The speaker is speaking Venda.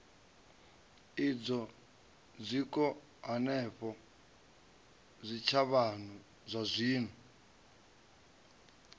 idzwo zwiko hanefho zwitshavhano zwazwino